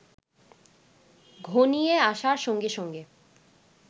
ঘনিয়ে আসার সঙ্গে সঙ্গে